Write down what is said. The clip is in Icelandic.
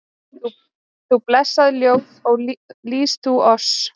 Þú blessað ljós, ó lýs þú oss